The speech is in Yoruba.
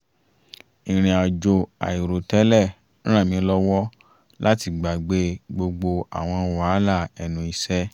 ìrìn àjò àìrò tẹ́lẹ̀ ràn mí lọ́wọ́ láti gbàgbé gbogbo àwọn wàhálà ẹnu iṣẹ́